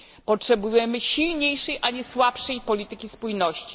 Potrzebujemy silniejszej, a nie słabszej polityki spójności.